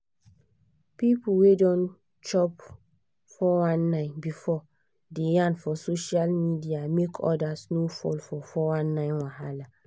people wey don chop 419 before dey yarn for social media make others no fall for 419 wahala